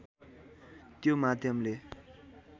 त्यो माध्यमले